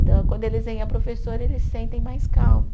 Então, quando eles veem a professora, eles sentem mais calmo.